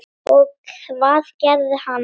Og hvað gerði hann?